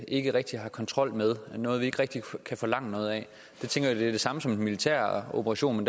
ikke rigtig har kontrol med noget vi ikke rigtig kan forlange noget af jeg tænker at det er det samme som en militær operation men